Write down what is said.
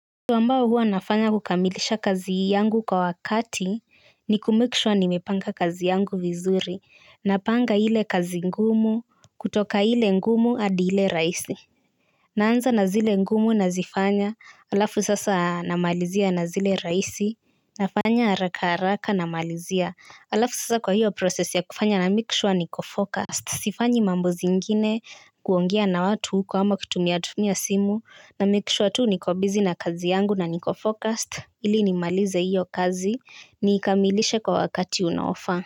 Kitu ambayo huwa nafanya kukamilisha kazi yangu kwa wakati ni kumake sure nimepanga kazi yangu vizuri. Napanga ile kazi ngumu kutoka ile ngumu hadi ile rahisi. Naanza na zile ngumu nazifanya alafu sasa namalizia na zile rahisi. Nafanya haraka haraka namalizia halafu sasa kwa hiyo process ya kufanya namake sure niko focused. Sifanyi mambo zingine kuongea na watu huko ama kutumiatumia simu, namake sure tu niko busy na kazi yangu na niko focused ili nimalize hiyo kazi niikamilishe kwa wakati unaofaa.